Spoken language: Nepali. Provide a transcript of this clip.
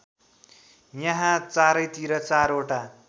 यहाँ चारैतिर चारवटा